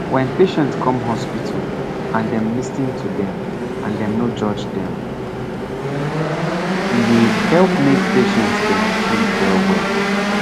wen patient come hospital and dem lis ten to dem and dem no judge dem pause e dey help make patient dem free well well.